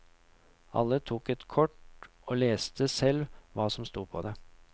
Alle tok et kort og leste selv hva som sto på det.